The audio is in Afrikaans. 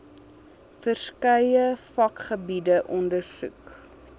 verskeie vakgebiede ondersoek